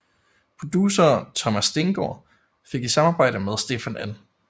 Producer Thomas Stengaard fik i samarbejde med Stefan N